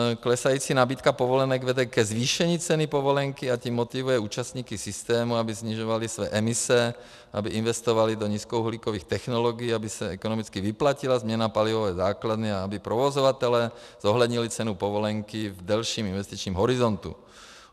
Klesající nabídka povolenek vede ke zvýšení ceny povolenky, a tím motivuje účastníky systému, aby snižovali své emise, aby investovali do nízkouhlíkových technologií, aby se ekonomicky vyplatila změna palivové základny a aby provozovatelé zohlednili cenu povolenky v delším investičním horizontu.